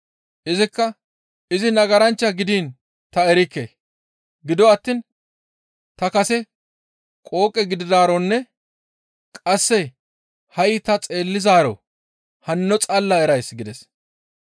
Izikka, «Izi nagaranchcha gidiin ta erikke. Gido attiin ta kase qooqe gididaaronne qasse ha7i ta xeellizaaro hanno xalla erays» gides.